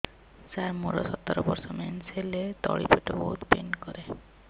ସାର ମୋର ସତର ବର୍ଷ ମେନ୍ସେସ ହେଲେ ତଳି ପେଟ ବହୁତ ପେନ୍ କରେ